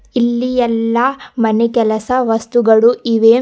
ಇಲ್ಲಿ ಎಲ್ಲ ಮನೆ ಕೆಲಸ ವಸ್ತುಗಳು ಇವೆ.